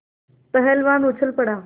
पहलवान उछल पड़ा